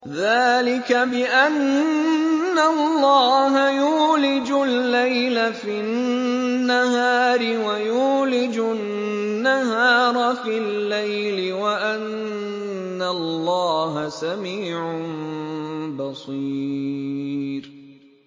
ذَٰلِكَ بِأَنَّ اللَّهَ يُولِجُ اللَّيْلَ فِي النَّهَارِ وَيُولِجُ النَّهَارَ فِي اللَّيْلِ وَأَنَّ اللَّهَ سَمِيعٌ بَصِيرٌ